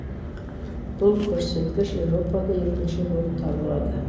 бұл көрсеткіш еуропада екінші болып табылады